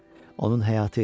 Onun həyatı idi.